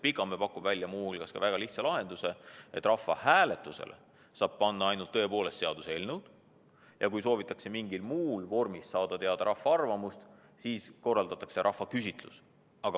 Pikamäe pakub muu hulgas välja väga lihtsa lahenduse: rahvahääletusele võiks panna ainult seaduseelnõusid ja kui soovitakse mingis muus vormis saada teada rahva arvamust, siis korraldatakse rahvaküsitlus.